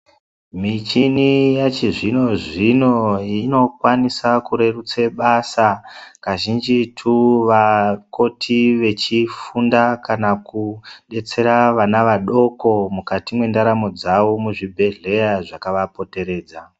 Michini yachizvino zvino inokwanisa kurerutsa basa kazhinjitu vakoti vechifunda kana kudetsera vana vadoko mukati mwendaramo dzavo mwezvibhedhlera zvakavapomberedza.